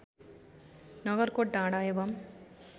नगरकोट डाँडा एवं